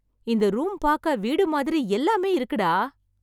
இந்த ரூம் பாக்க வீடு மாதிரி எல்லாமே இருக்குடா!